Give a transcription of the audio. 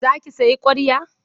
Za ki sayi ƙwarya?